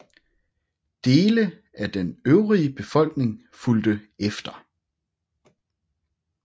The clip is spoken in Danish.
Dele af den øvrige befolkning fulgte efter